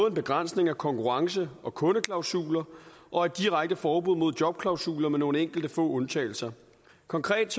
en begrænsning af konkurrence og kundeklausuler og et direkte forbud mod jobklausuler med nogle enkelte få undtagelser konkret